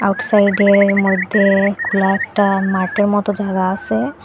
রোডসাইডের মইধ্যে খোলা একটা মাটের মতো জায়গা আসে।